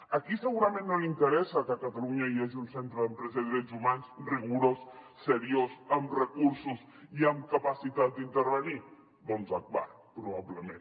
a qui segurament no li interessa que a catalunya hi hagi un centre d’empresa i drets humans rigorós seriós amb recursos i amb capacitat d’intervenir doncs a agbar probablement